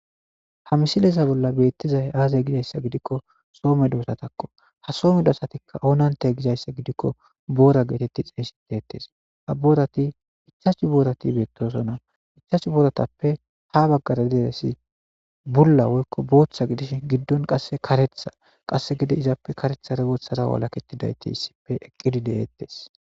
ha misileza bolla beettizay aazey gizayssa gidikko soome doosatakko ha soomedo asatikka oonante gizayssa gidikko boora geetetti xeysitettes a boorati ichashu boorati beettosona ichashu boratappe ha baggara deeresi bulla woykko booththa gidish giddon qasse karetha qasse gide izappe karetha regoothara walaketidayti issippe eqqidi de7eettes